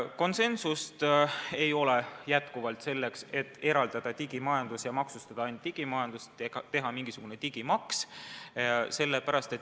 Konsensust aga selleks, et eraldada digimajandus ja maksustada ainult digimajandust, teha mingisugune digimaks, ei ole.